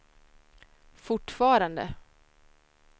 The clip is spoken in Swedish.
fortfarande